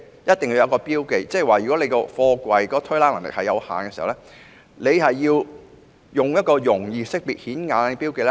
意思是，如果貨櫃的推拉能力有限，便須附上容易識別及顯眼的標記。